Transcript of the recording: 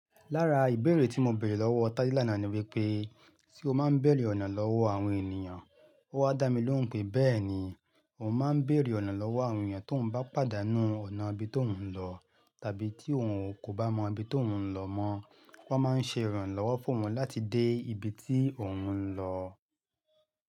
Lára ìbéèrè tí mọ bèrè lọ́wọ́ Tádé lánàá ni wípé, "ṣé o máa ń bèrè ọ̀nà lọ́wọ́ àwọn ènìyàn?" Ó wá dá mi lóhùn pé, "bẹ́ẹ̀ni, mò máa ń bèrè ọ̀nà lọ́wọ́ àwọn èyàn tó òun bá pàdánù ọ̀nà ibi tó òun lọ tàbí tí òun kò bá mọ ibi tó òun lọ mọ́, wọ́n máa ń ṣe ìrànlọ́wọ́ fún òun láti dé ibi tí òun ń lọ."